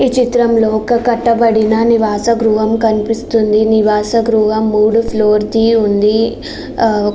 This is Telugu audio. ఈ చిత్రంలో ఒక కట్టబడిన ఒక నివాస గృహం కనిపిస్తుంది. నివాస గృహం మూడు ఫ్లోర్ లా ఉంది. ఆ--